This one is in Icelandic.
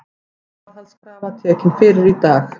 Gæsluvarðhaldskrafa tekin fyrir í dag